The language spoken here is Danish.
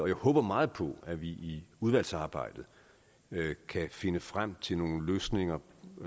jeg håber meget på at vi i udvalgsarbejdet kan finde frem til nogle løsninger